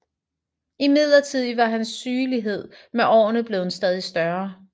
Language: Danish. Imidlertid var hans sygelighed med årene blevet stadig større